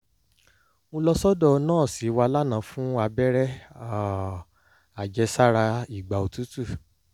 mo lọ sọ́dọ̀ nọ́ọ̀sì wa lánàá fún abẹ́rẹ́ um àjẹsára ìgbà òtútù